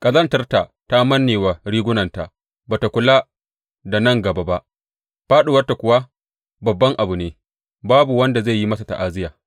Ƙazantarta ta manne wa rigunanta; ba tă kula da nan gaba ba, fāɗuwarta kuwa babban abu ne; babu wanda zai yi mata ta’aziyya.